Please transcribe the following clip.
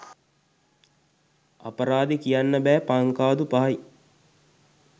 අපරාදේ කියන්න බෑ පංකාදු පහයි